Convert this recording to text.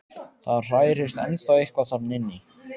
Það hrærist ennþá eitthvað þarna inni.